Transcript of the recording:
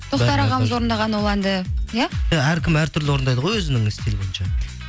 тоқтар ағамыз орындаған ол әнді иә иә әркім әртүрлі орындайды ғой өзінің стилі бойынша